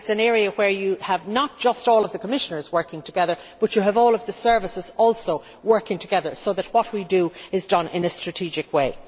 It is an area in which you have not just all of the Commissioners working together, but you have all of the services also working together to ensure that what we do is done in a strategic way.